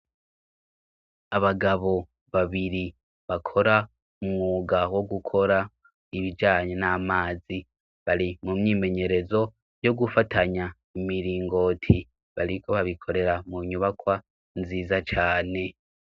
Abagabo babiri bakora umwuga wo gukora ibijanye n'amazi, bari mu myimenyerezo yo gufatanya imiringoti. Bariko babikorera mu nyubakwa nziza cane.